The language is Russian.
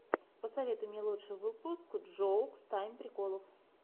посоветуй мне лучший выпуск джоукс тайм приколов